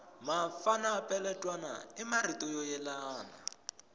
mafana peletwana i marito yo yelana